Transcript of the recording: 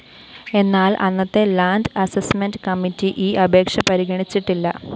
എന്നാല്‍ അന്നത്തെ land assessment committee ഈ അപേക്ഷ പരിഗണിച്ചിട്ടില്ല